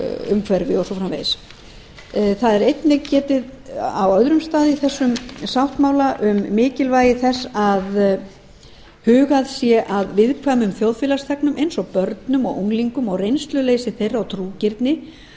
umhverfi og svo framvegis þar er einnig getið á öðrum stað í þessum sáttmála um mikilvægi þess að hugað sé að viðkvæmum þjóðfélagsþegnum eins og börnum og unglingum og reynsluleysi þeirra